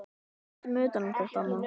Höldum utan um hvert annað.